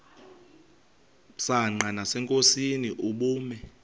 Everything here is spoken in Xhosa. msanqa nasenkosini ubume